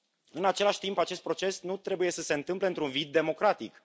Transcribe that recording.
În același timp, acest proces nu trebuie să se întâmple într un vid democratic.